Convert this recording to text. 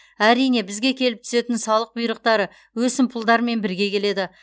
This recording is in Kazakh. әрине бізге келіп түсетін салық бұйрықтары өсімпұлдармен бірге келеді